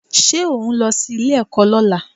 Ṣé òhún lọ sí ilé-ẹ̀kọ́ lọ́la?